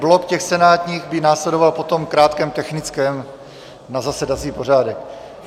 Blok těch senátních by následoval po krátkém technickém na zasedací pořádek.